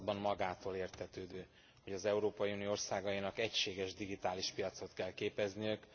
században magától értetődő, hogy az Európai Unió országainak egységes digitális piacot kell képezniük.